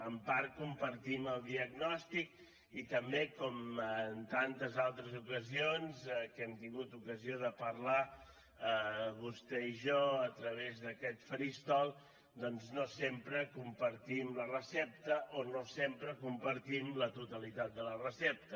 en part compartim el diagnòstic i també com en tantes altres ocasions que hem tingut ocasió de parlar vostè i jo a través d’aquest faristol doncs no sempre compartim la recepta o no sempre compartim la totalitat de la recepta